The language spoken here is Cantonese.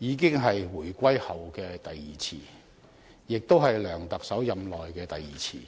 這已是回歸後的第二次，也是梁特首任內的第二次。